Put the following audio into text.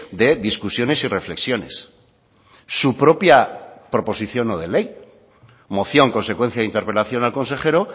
de discusiones y reflexiones su propia proposición no de ley moción consecuencia de interpelación al consejero